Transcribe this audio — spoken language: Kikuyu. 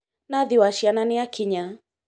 Nathi wa ciana nĩakinya